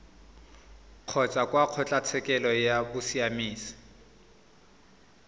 kgotsa kwa kgotlatshekelo ya bosiamisi